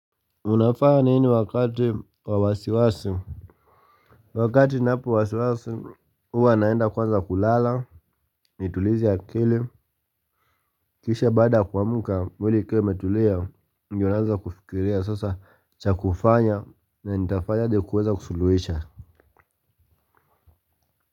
Unafaa nini wakati wa wasiwasi? Wakati napo wasiwasi, huwa naenda kwanza kulala, nitulize akili, kisha baada kuamka, mwili ikiwa imetulia, ndio naanza kufikiria, sasa cha kufanya, na nitafanya ili kuweza kusuluhisha.